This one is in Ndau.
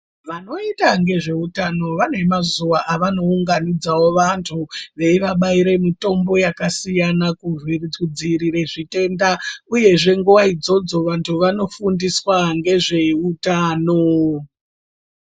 Vanoita ngezveutano vane mazuwa avanounganidzawo vantu veivabaira mitombo yakasiyana kudziirire zvitenda uyezve nguva idzodzo vantu vanofundiswa ngezveutano.